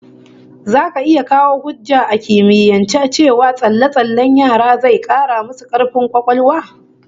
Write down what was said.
Zaka iya kawo hujja a kimiyance cewa tsalle-tsallen yara zai 'kara musu kaifin kwakwalwa?